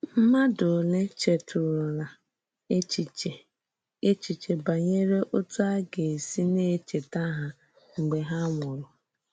Mmádụ òlé chètùrùlá èchìchè èchìchè banyere òtú a gà-èsì na-echètà hà mgbe hà nwùrù?